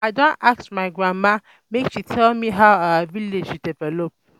I don go ask my grandma um make she tell me how our village develop.